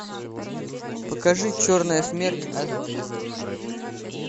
покажи черная смерть аш ди